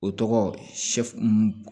O tɔgɔ sɛfu